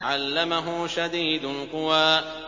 عَلَّمَهُ شَدِيدُ الْقُوَىٰ